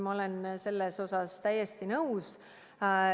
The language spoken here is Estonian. Ma olen selles osas täiesti nõus.